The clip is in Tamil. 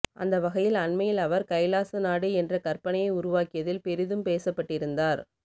அந்தவகையில் அண்மையில் அவர் கைலாசா நாடு என்ற கற்பனையை உருவாக்கியதில் பெரிதும் பேசப்பட்டிருந்தார்